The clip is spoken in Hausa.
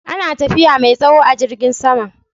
Ana tafiya mai tsawo a jirgin sama